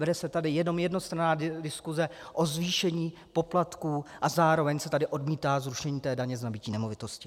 Vede se tady jenom jednostranná diskuse o zvýšení poplatků a zároveň se tady odmítá zrušení daně z nabytí nemovitosti.